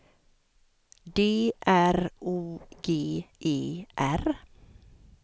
D R O G E R